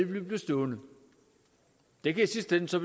vi vil blive stående det kan så